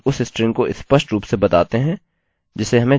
और फिर हम उस स्ट्रिंग को स्पष्ट रूप से बताते हैं जिसे हमें जांचने की आवश्यकता है